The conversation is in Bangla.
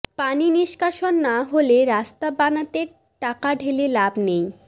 পানি নিষ্কাশন না হলে রাস্তা বানাতে টাকা ঢেলে লাভ নেই